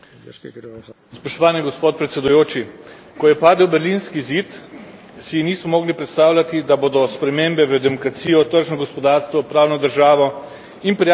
Ko je padel berlinski zid, si nismo mogli predstavljati, da bodo spremembe v demokracijo, tržno gospodarstvo, pravno državo in prijateljske medsosedske odnose tako težko dosegljive.